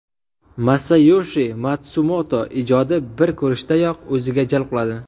Masayoshi Matsumoto ijodi bir ko‘rishdayoq o‘ziga jalb qiladi.